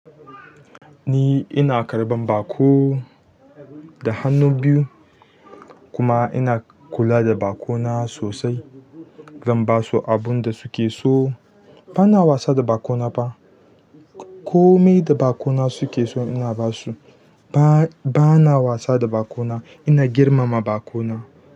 Ni ina karɓan baƙo da hannu biyu kuma ina kula da baƙona sosai, zan basu abin da su ke so. Bana wasa da baƙo na fa komai da baƙo suke so ina basi ba, bana wasa da baƙona, ina girmama baƙona.